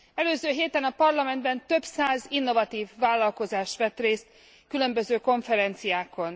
Előző héten a Parlamentben több száz innovatív vállalkozás vett részt különböző konferenciákon.